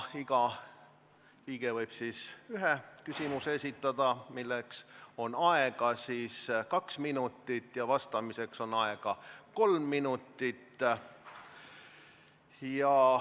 Iga liige võib esitada ühe küsimuse, milleks on aega kaks minutit, ja vastamiseks on aega kolm minutit.